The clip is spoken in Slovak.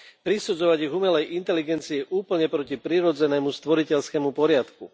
Prisudzovať ich umelej inteligencii je úplne proti prirodzenému stvoriteľskému poriadku.